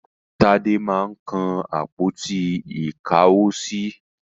Tádé máa ń kan àpótí-ìkáwosí.